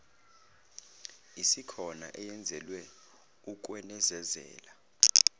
isikhona eyenzelwe ukwenezezela